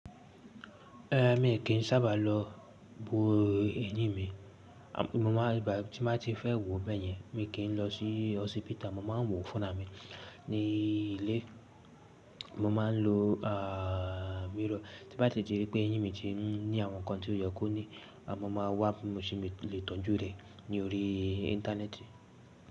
Eh, mi kì í sábà lọ bo ẹyín mi mo máà bá tí n bá ti fẹ́ wo bẹ́yẹn mi kì í lọ sí hospital, mo ma wò fúnra mi ní ilé. Mo ma n lo mirror tí bá sì ti rí pé eyín mi ti n ní àwọn nkan tí ó yẹ kó ní, a mo ma wá bí mo ṣe lè tọ́jú rẹ̀ ní orí íńtánẹ́ẹ̀tì.